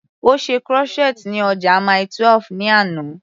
Ó ṣe crochet ní ọjà Mile 12 ní àná.